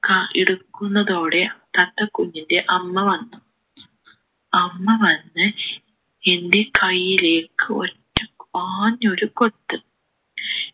ക എടുക്കുന്നതോടെ തത്ത കുഞ്ഞിൻ്റെ അമ്മ വന്നു അമ്മ വന്ന് എൻ്റെ കൈയിലേക്ക് ഒറ്റ ആഞ്ഞൊരു കൊത്ത്